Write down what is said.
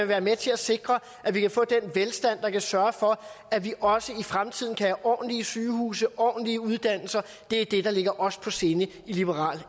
være med til at sikre at vi kan få den velstand der kan sørge for at vi også i fremtiden kan have ordentlige sygehuse ordentlige uddannelser det er det der ligger os på sinde i liberal